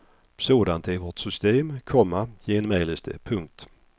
Sådant är vårt system, komma genmäles det. punkt